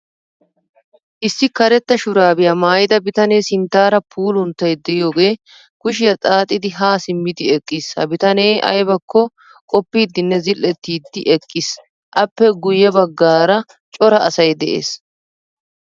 Issi karetta shurabiya maayida biitane sinttaara puulunttay de'iyoge kushiyaa xaaxidi ha simmidi eqqiis. Ha bitane aybakko qoppidinne zil'ettidi eqqiis Appe guye baggaara cora asay de'ees.